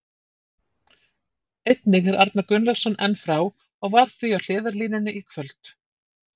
Einnig er Arnar Gunnlaugsson enn frá og var því á hliðarlínunni í kvöld.